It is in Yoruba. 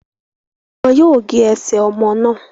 Wọn yóò gé ẹsẹ ọmọ náà